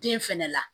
Den fɛnɛ la